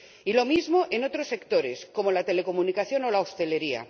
Y lo mismo en otros sectores como la telecomunicación o la hostelería.